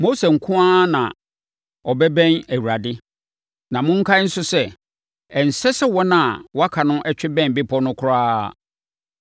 Mose nko ara na ɔbɛbɛn Awurade; na monkae nso sɛ, ɛnsɛ sɛ wɔn a wɔaka no twe bɛn bepɔ no koraa.”